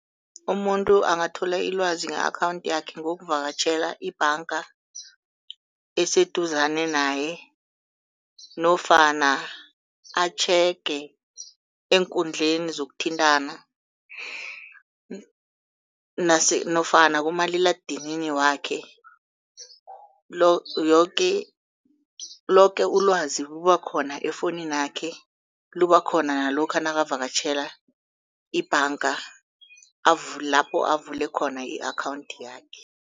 Umuntu angathola ilwazi nge-akhawunthi yakhe ngokuvakatjhela ibhanga eseduzane naye, nofana atjhege eenkundleni zokuthintana nofana kumaliledinini wakhe. Yoke, loke ilwazi liba khona efowunini yakhe liba khona nalokha nakavakatjhela ibhanga lapho avule khona i-akhawunthi yakhe.